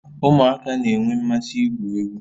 Ụmụaka na-enwe mmasị igwu egwu